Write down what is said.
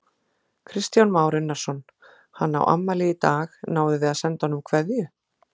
Kristján Már Unnarsson: Hann á afmæli í dag, náðuð þið að senda honum kveðju?